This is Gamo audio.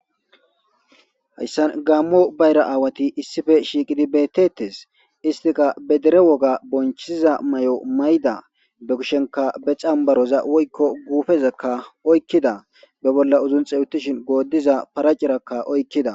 Hayssan gammo bayra aawati issife shiiqidi beettettes istika bedere woga bonchiza may7o mayda be kushenka be xambaroza woykko guufezekka oykkida be bolla uzunxewuttishin goodiza paracirakka oykkida.